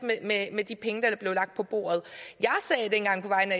med de penge der blev lagt på bordet